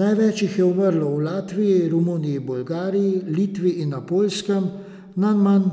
Največ jih je umrlo v Latviji, Romuniji, Bolgariji, Litvi in na Poljskem, najmanj